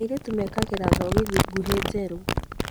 Airĩtu mekagĩra thogithi nguhĩ njerũ